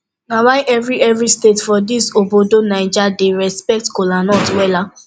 na why evri evri state for dis obodo naija dey respekt kolanut wella